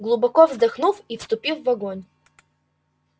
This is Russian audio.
глубоко вздохнув и вступив в огонь